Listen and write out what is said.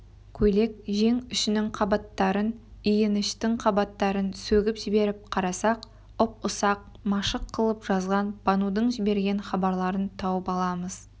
көйлек жең үшінің қабаттарын иініштің қабаттарын сөгіп жіберіп қарасақ ұп-ұсақ машық қылып жазған банудың жіберген хабарларын тауып аламыз